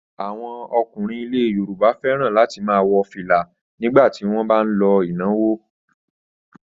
Àwọn ọkùnrin ilẹ̀ Yorùbá fẹ́ràn láti máa wọ fìlà nígbà tí wọ́n bá ń lọ ìnáwó.